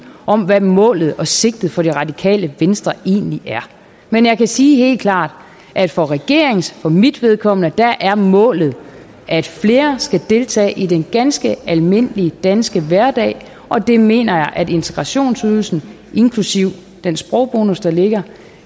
om hvad målet og sigtet for det radikale venstre egentlig er men jeg kan sige helt klart at for regeringens og for mit vedkommende er målet at flere skal deltage i den ganske almindelige danske hverdag og det mener jeg at integrationsydelsen inklusive den sprogbonus der ligger